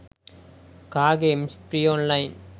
car games free online